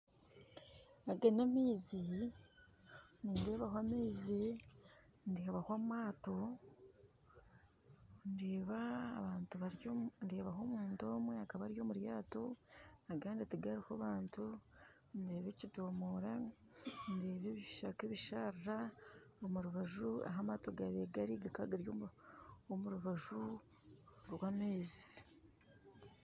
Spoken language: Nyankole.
Aga namaizi, nindeebaho amaizi ,ndeebaho amato ndeeba abantu baryomu ndeebaho omuntu omwe akabari omuryato agandi tihariho bantu ndeeba ekidoomoora deeba ebishaka ebishara omurubaju ahu amato gabaire gari gakaba gari omurubaju rwamaizi